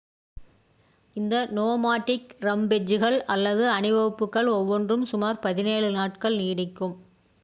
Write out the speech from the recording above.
இந்த நோமாடிக் ரம்பெஜ்கள் அல்லது அணிவகுப்புகள் ஒவ்வொன்றும் சுமார் 17 நாட்கள் நீடிக்கும்